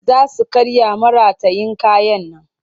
Za su karya maratayin kayan nan